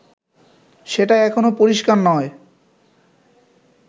সেটা এখনও পরিস্কার নয়